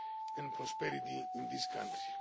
and prosperity in this country.